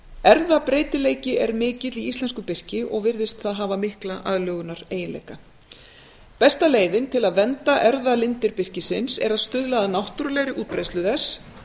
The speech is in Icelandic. erfðabreytileiki er mikill í íslensku birki og virðist það hafa mikla aðlögunareiginleika besta leiðin til að vernda erfðalindir birkisins er að stuðla að náttúrulegri útbreiðslu þess